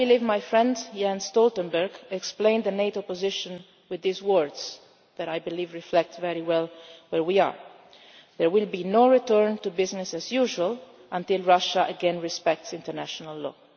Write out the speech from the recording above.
go back to normal? My friend Jan Stoltenberg explained the NATO position with these words that, I believe, reflect very well where we are there will be no return to business as usual until Russia again respects